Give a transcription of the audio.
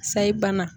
Sayi bana